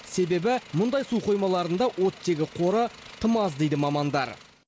себебі мұндай су қоймаларында оттегі қоры тым аз дейді мамандар